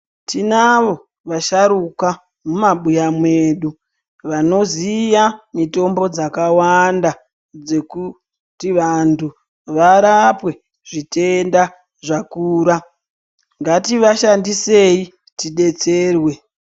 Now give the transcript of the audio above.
Tinavo asharuka mumabuya mwedu vanoziya mitombo dzakawanda dzekuti vantu varapwe zvitenda zvakura ngativashandisei tidetserwe.